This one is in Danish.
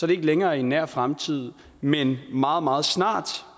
det ikke længere i en nær fremtid men meget meget snart